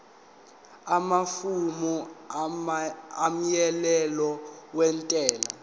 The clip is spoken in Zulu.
amafomu omyalelo wentela